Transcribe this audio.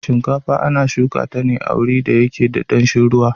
Shinkafa ana shuka ta ne a wurin da yake da danshin ruwa.